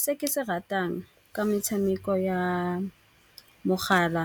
Se ke se ratang ka metshameko ya mogala